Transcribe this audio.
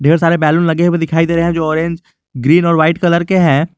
सारे बैलून लगे हुए दिखाई दे रहे हैं जो ऑरेंज ग्रीन और वाइट कलर के है।